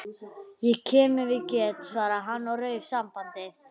Ég kem ef ég get- svaraði hann og rauf sambandið.